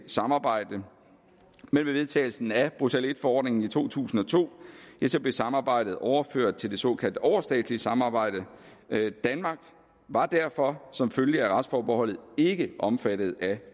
samarbejde men med vedtagelsen af bruxelles i forordningen i to tusind og to blev samarbejdet overført til det såkaldt overstatslige samarbejde danmark var derfor som følge af retsforbeholdet ikke omfattet af